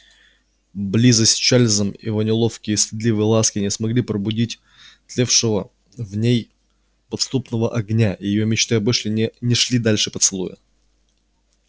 близость с чарлзом его неловкие стыдливые ласки не смогли пробудить тлевшего в ней подспудного огня и её мечты об эшли не шли дальше поцелуя